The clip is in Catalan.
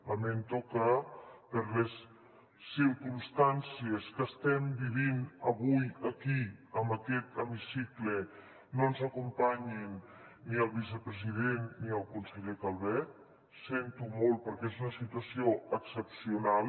lamento que per les circumstàncies que estem vivint avui aquí en aquest hemicicle no ens acompanyin ni el vicepresident ni el conseller calvet ho sento molt perquè és una situació excepcional